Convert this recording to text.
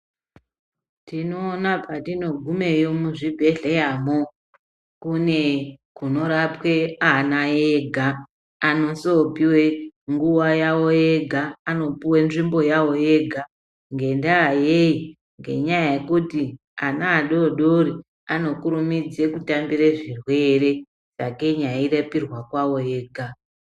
Tinoona patinogumeyo muzvibhedhleyamwo. Kune kunorapwa ana ega, anozopuwa nguwa yawo yega. Anopuwa nzvimbo yavo yega ngendaa yei? Ngenyaya yekuti adodori anokurumidza kutambira zvirwere sakei veirapiwa kwavo vega.